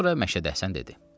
Sonra Məşədi Həsən dedi: